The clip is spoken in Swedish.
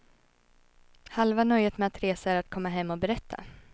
Halva nöjet med att resa är att komma hem och berätta.